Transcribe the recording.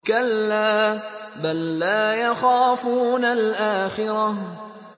كَلَّا ۖ بَل لَّا يَخَافُونَ الْآخِرَةَ